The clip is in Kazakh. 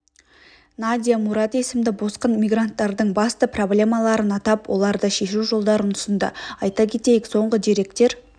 надия мурад есімді босқын мигранттардың басты проблемаларын атап оларды шешу жолдарын ұсынды айта кетейік соңғы деректер